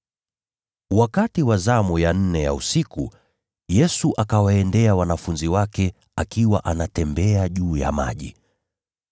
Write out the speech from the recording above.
Wakati wa zamu ya nne ya usiku, Yesu akawaendea wanafunzi wake akiwa anatembea juu ya maji.